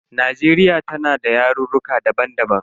Najeriya tana da yarurruka daban daban.